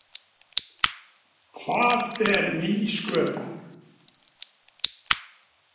Hvað er nýsköpun?